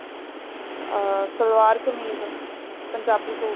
ਅਮ salwar kameez Punjabi suit